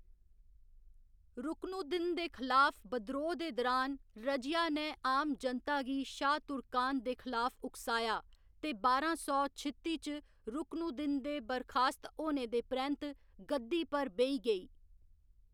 रुकनुद्दीन दे खलाफ बिद्रोह् दे दरान, रजिया ने आम जनता गी शाह् तुर्कान दे खलाफ उकसाया, ते बारां सौ छित्ती च रुकनुद्दीन दे बरखास्त होने दे परैंत्त गद्दी पर बेही गेई।